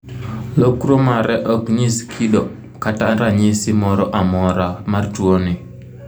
Lokruo mare ok nyis kido kata ranyisi moro amora mar tuoni.